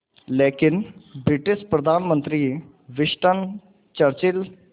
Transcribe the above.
लेकिन ब्रिटिश प्रधानमंत्री Winston Churchill